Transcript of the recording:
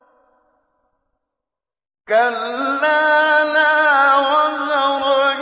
كَلَّا لَا وَزَرَ